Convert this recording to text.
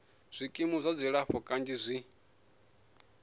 zwikimu zwa dzilafho kanzhi zwi